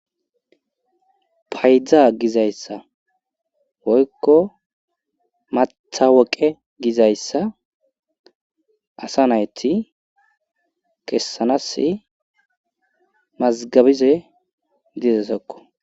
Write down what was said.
payidzaa gizayssa woykko matha woqe gizayssa asa nayti kessanas mazgabize dizesekko